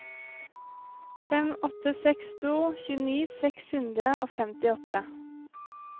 fem åtte seks to tjueni seks hundre og femtiåtte